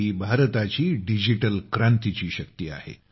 ही भारताची डिजिटल क्रांतीची शक्ती आहे